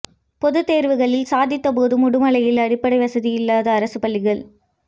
பொதுத்தேர்வுகளில் சாதித்த போதும் உடுமலையில் அடிப்படை வசதிகள் இல்லாத அரசு பள்ளிகள்